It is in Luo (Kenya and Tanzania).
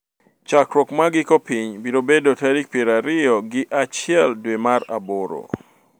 Chakruok mar giko piny biro bedo tarik piero ariyo gi achiel dwe mar aboro.